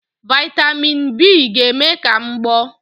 Vị́tamị́n n B ga-eme ka m gboọ́